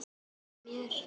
Ég finn það á mér.